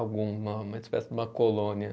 Alguma, uma espécie de uma colônia.